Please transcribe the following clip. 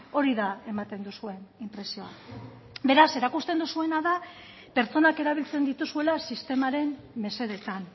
hori da ematen duzuen inpresioa beraz erakusten duzuena da pertsonak erabiltzen dituzuela sistemaren mesedetan